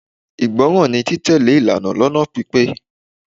Ìgbọràn ni títẹ̀lé ìlànà lónà pípé.